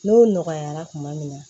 N'o nɔgɔyara tuma min